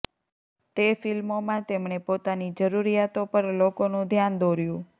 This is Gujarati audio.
તે ફિલ્મોમાં તેમણે પોતાની જરૂરિયાતો પર લોકોનું ધ્યાન દોર્યું